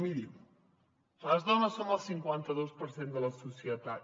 miri les dones som el cinquanta dos per cent de la societat